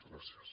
gràcies